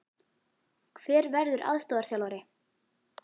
Hver verður aðstoðarþjálfari?